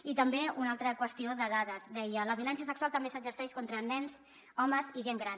i també una altra qüestió de dades deia la violència sexual també s’exerceix contra nens homes i gent gran